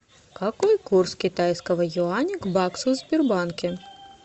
какой курс китайского юаня к баксу в сбербанке